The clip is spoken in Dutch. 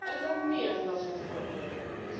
Er zijn meer van dat soort voorbeelden.